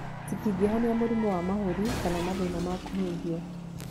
Citingĩhonia mũrimũ wa mahũri kana mathĩna ma kũhuhia.